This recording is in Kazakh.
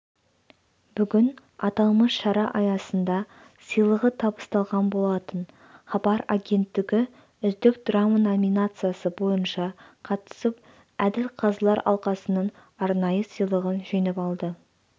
бүгін аталмыш шара аясында сыйлығы табысталған болатын хабар агенттігі үздік драма номинациясы бойынша қатысып әділ қазылар алқасының арнайы сыйлығын жеңіп алды